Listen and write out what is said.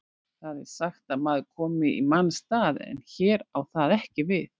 Það er sagt að maður komi í manns stað, en hér á það ekki við.